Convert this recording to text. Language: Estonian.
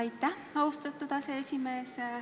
Aitäh, austatud aseesimees!